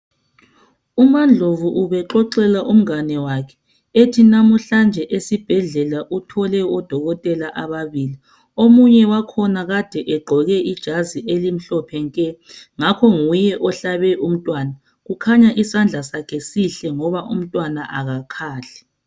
UmaNdlovu ubexoxela umngane wakhe ethi namuhlanje esibhedlela uthole odokotela ababili omunye wakhona kade egqoke ijazi elimhlophe nke ngakho nguye ohlabe umntwana kukhanya isandla sakhe sihle ngoba umntwana akakhali.